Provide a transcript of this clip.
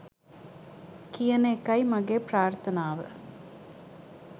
කියන එකයි මගේ ප්‍රාර්ථනාව.